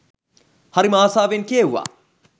හරිම ආසාවෙන් කියෙව්වා